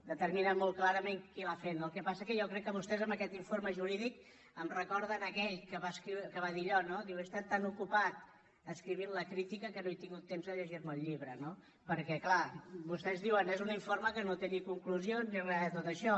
determina molt clarament qui l’ha fet no el que passa és que jo crec que vostès amb aquest informe jurídic em recorden aquell que va dir allò no diu he estat tan ocupat escrivint la crítica que no he tingut temps de llegirme el llibre no perquè clar vostès diuen és un informe que no té ni conclusions ni re de tot això